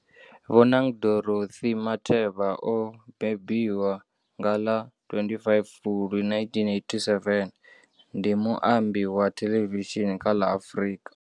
Bonang Dorothy Matheba o mbembiwa nga ḽa 25 Fulwi 1987, ndi muambi wa thelevishini kha ḽa Afrika.